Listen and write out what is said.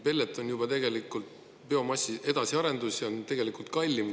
Pellet on tegelikult juba biomassi edasiarendus ja on kallim.